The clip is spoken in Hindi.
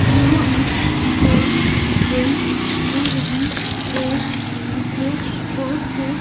यह एक दुकान दिखाई दे रही है जिसमें बहुत से--